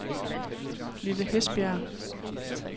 Lille Hesbjerg